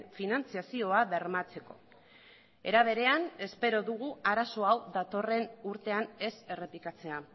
finantzazioa bermatzeko era berean espero dugu arazo hau datorren urtean ez errepikatzea